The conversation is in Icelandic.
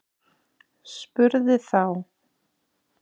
Spurði þá